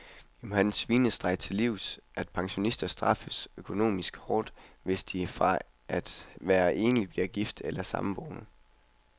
Vi må den svinestreg til livs, at pensionister straffes økonomisk hårdt, hvis de fra at være enlig bliver gift eller samboende.